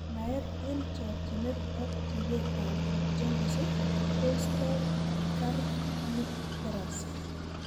Naet eng chokchinet ak ribet ab Jaundice ko isto kernicterus.